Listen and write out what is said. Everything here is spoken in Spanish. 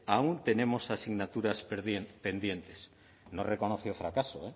aún tenemos asignaturas pendientes no reconoció el fracaso